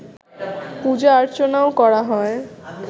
পূজা আর্চনাও করা হয়